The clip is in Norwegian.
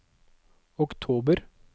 oktober